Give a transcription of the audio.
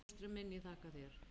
Fóstri minn, ég þakka þér.